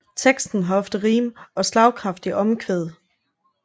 Teksten har ofte rim og slagkraftige omkvæd